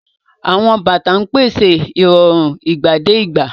Àwọn bàtà ń pèsè ìrọ̀rùn ìgbàdégbà.